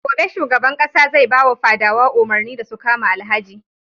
Gobe shugaban ƙasa zai bawa fadawa umarni da su kama Alhaji.